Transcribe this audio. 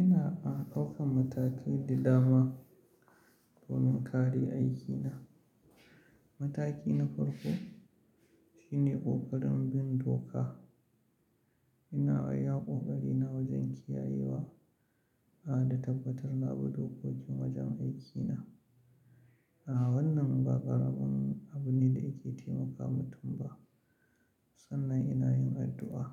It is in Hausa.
Ina an ɗaukan matakai da dama domin kare aikina. Mataki na farko shine ƙoƙarin bin doka. Ina iya ƙoƙarina wajen kiyayewa, a da tabbatar labu dokokin wajen aikina. A wannan ba ƙaramin abu ne da yake taimaka mutum ba. Sannan ina yin addu'a.